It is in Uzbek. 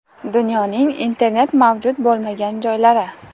Dunyoning internet mavjud bo‘lmagan joylari.